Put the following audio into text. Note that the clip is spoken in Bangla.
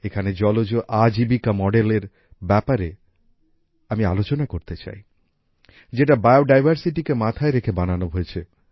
এখানে জলজ আজিবিকা মডেলএর ব্যাপারে আমি আলোচনা করতে চাই যেটা বায়োডাইভার্সিটিকে মাথায় রেখে বানানো হয়েছে